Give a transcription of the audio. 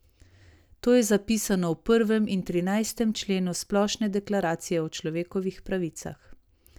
To je zapisano v prvem in trinajstem členu Splošne deklaracije o človekovih pravicah.